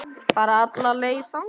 Bara alla leið þangað!